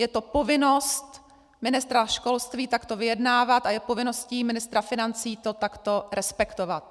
Je to povinnost ministra školství takto vyjednávat a je povinností ministra financí to takto respektovat.